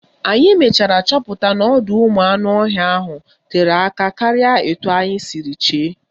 Anyị mechara chọpụta n'ọdọụmụanụọhịa ahụ tere aka karịa etu anyị siri chee